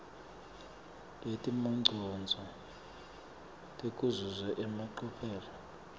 netimongcondvo tekuzuza emacophelo